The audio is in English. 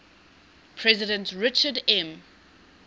president richard m